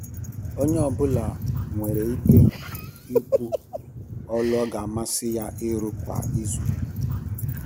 Onye ọ bụla nwere ike ikwu ọlụ ọ ga amasị ya ịrụ kwa izu.